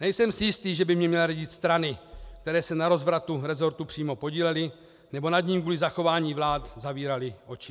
Nejsem si jistý, že by mi měly radit strany, které se na rozvratu rezortu přímo podílely nebo nad ním kvůli zachování vlády zavíraly oči.